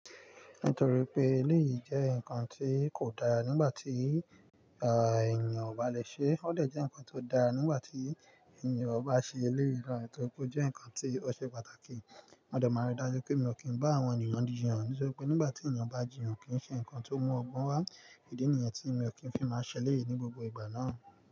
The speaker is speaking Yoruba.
Nítorí pé eléyìí jẹ́ nǹkan tí kò dára nígbà tí, ènìyàn ò bá le ṣe é, ó lè jẹ́ nǹkan tó dára nígbà tí ènìyàn bá ṣe eléyìí náà, nítorí pé ó jẹ́ nǹkan tí ó ṣe pàtàkì. Mo dè máa rí dájú pé mi ò kí ń bá àwọn ènìyàn jiyàn, nítorí pé nígbà tí ènìyàn bá jiyàn kì í ṣe nǹkan tó mú ọgbọ́n wá. Ìdí nìyẹn tí mi ò kí ń fi máa ṣẹlẹ̀ ní gbogbo ìgbà náà.